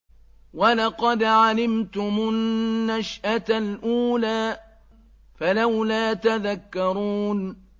وَلَقَدْ عَلِمْتُمُ النَّشْأَةَ الْأُولَىٰ فَلَوْلَا تَذَكَّرُونَ